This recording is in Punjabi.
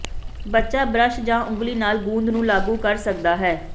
ਬੱਚਾ ਬ੍ਰਸ਼ ਜਾਂ ਉਂਗਲੀ ਨਾਲ ਗੂੰਦ ਨੂੰ ਲਾਗੂ ਕਰ ਸਕਦਾ ਹੈ